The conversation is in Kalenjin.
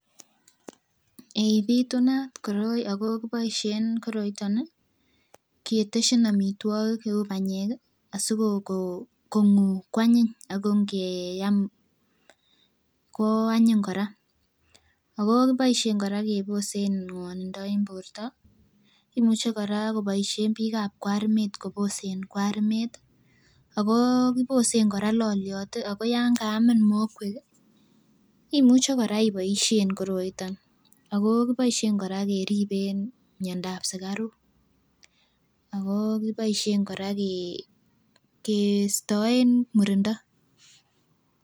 Eeh pitunat koroi ako kiboishe koroiton nii keteshin omitwokik cheu panyek kii asikokonguu kwanyiny ako inkeam koo anyin Koraa ako kiboishen Koraa keboisen ngwonindo en borto , imuche Koraa koboishen bik ab kwarimet koboisen kwarimet tii, akoo kibosen Koraa loliot tii ako yankaamin mokwek kii imuche Koraa iboishen koroiton. Ako kiboishen Koraa keriben miondap sukaruk akoo kiboishen Koraa kee keeistoen murindo.